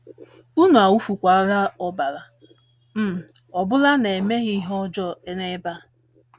Unu awụfukwala ọbara um ọ bụla na - emeghị ihe ọjọọ n’ebe a. ”